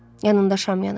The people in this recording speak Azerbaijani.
Yanında şam yanırdı.